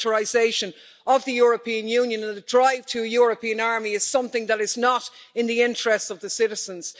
The militarisation of the European Union and the drive to a European army is something that is not in the interests of the citizens.